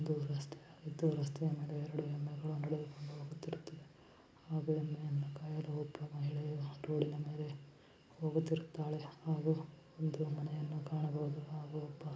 ಇದು ರಸ್ತೆ ಆಗಿದ್ದು ರಸ್ತೆ ನಡುವೆ ಎರಡು ಎಮ್ಮೆಗಳು ನಡೆದುಕೊಂಡು ಹೋಗುತ್ತಿರುತ್ತದೆ ಹಾಗೆ ಎಮ್ಮೆಯನ್ನು ಕಾಯಲು ಹೋಗುತ್ತಿರುವ ಮಹಿಳೆ ಒಂದು ಮನೆಯನ್ನು ಕಾಣಬಹುದು ಹಾಗು ಒಬ್ಬ --